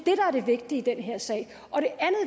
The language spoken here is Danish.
er det vigtige i den her sag